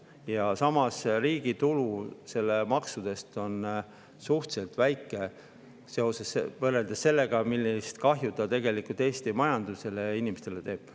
Ja samas, riigi tulu sellest maksust on suhteliselt väike võrreldes sellega, millist kahju see tegelikult Eesti majandusele ja inimestele teeb.